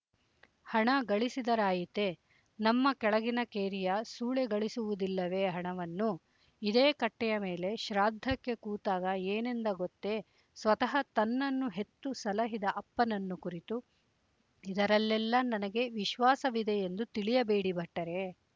ಹಣ ಗಳಿಸಿದರಾಯಿತೆ ನಮ್ಮ ಕೆಳಗಿನ ಕೇರಿಯ ಸೂಳೆ ಗಳಿಸುವುದಿಲ್ಲವೇ ಹಣವನ್ನು ಇದೇ ಕಟ್ಟೆಯ ಮೇಲೆ ಶ್ರಾದ್ಧಕ್ಕೆ ಕೂತಾಗ ಏನೆಂದ ಗೊತ್ತೇಸ್ವತಃ ತನ್ನನ್ನು ಹೆತ್ತು ಸಲಹಿದ ಅಪ್ಪನನ್ನು ಕುರಿತು ಇದರಲ್ಲೆಲ್ಲ ನನಗೆ ವಿಶ್ವಾಸವಿದೆಯೆಂದು ತಿಳಿಯಬೇಡಿ ಭಟ್ಟರೇ